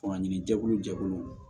Fanga ɲini jɛkulu jɛkuluw